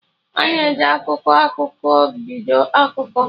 Ana e ji "akụkọ akụkọ" biko akụkọ